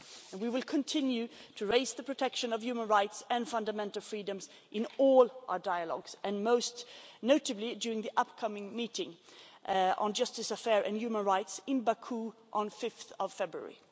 We will continue to raise the protection of human rights and fundamental freedoms in all our dialogues and most notably during the upcoming meeting on justice affairs and human rights in Baku on 5 February.